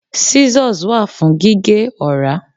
Scissors wa fún gíge ora.